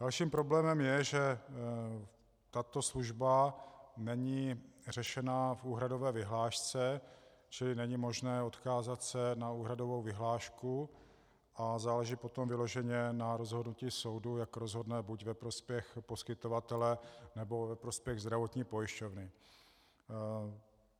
Dalším problémem je, že tato služba není řešena v úhradové vyhlášce, čili není možné odkázat se na úhradovou vyhlášku a záleží potom vyloženě na rozhodnutí soudu, jak rozhodne - buď ve prospěch poskytovatele, nebo ve prospěch zdravotní pojišťovny.